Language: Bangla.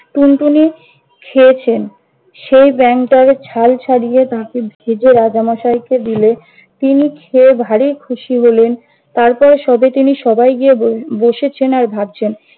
টুনটুনি খেয়েছেন। সেই ব্যাঙটার ছাল ছাড়িয়ে তাকে ভেজে রাজা মশাই কে দিলে তিনি খেয়ে ভারী খুশি হলেন। তারপর, সবাইকে নিয়ে সবাই গিয়ে বস~ বসেছেন আর ভাবছেন-